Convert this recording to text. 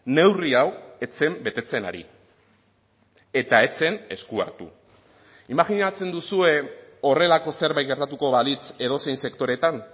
neurri hau ez zen betetzen ari eta ez zen esku hartu imajinatzen duzue horrelako zerbait gertatuko balitz edozein sektoretan